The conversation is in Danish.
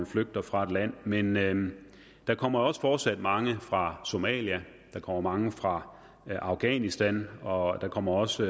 flygter fra et land men men der kommer også fortsat mange fra somalia der kommer mange fra afghanistan og der kommer også